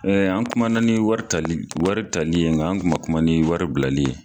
an kuma na ni wari tali wari tali yen, nka an kuma kuma ni wari bilali ye.